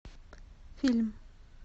фильм